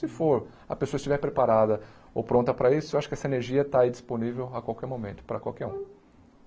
Se for, a pessoa estiver preparada ou pronta para isso, eu acho que essa energia está aí disponível a qualquer momento, para qualquer um.